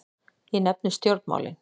Ég nefni stjórnmálin.